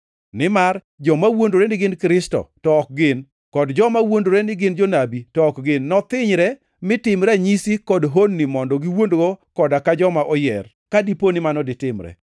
Nimar joma wuondore ni gin Kristo to ok gin kod joma wuondore ni gin jonabi to ok gin nothinyre mi tim ranyisi kod honni mondo giwuondgo koda ka joma oyier, ka dipo mano ditimre.